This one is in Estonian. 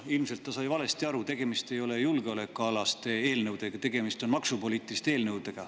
Ilmselt ta sai valesti aru: tegemist ei ole julgeolekualaste eelnõudega, tegemist on maksupoliitiliste eelnõudega.